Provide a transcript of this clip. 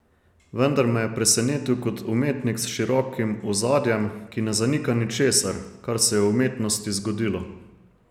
Vendar me je presenetil kot umetnik s širokim ozadjem, ki ne zanika ničesar, kar se je v umetnosti zgodilo.